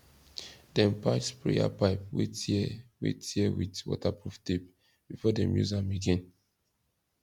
dem patch sprayer pipe wey tear wey tear with waterproof tape before dem use am again